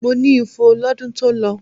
Mo ní ifo lọ́dún tó lọ.